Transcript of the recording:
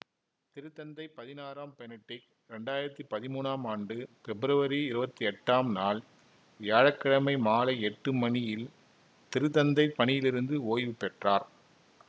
திருத்தந்தை பதினாறாம் பெனடிக்ட் இரண்டாயிரத்தி பதிமூனாம் ஆண்டு பெப்ருவரி இருவத்தி எட்டாம் நாள் வியாழ கிழமை மாலை எட்டு மணியில் திருத்தந்தை பணியிலிருந்து ஓய்வுபெற்றார்